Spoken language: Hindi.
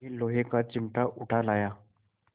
यह लोहे का चिमटा उठा लाया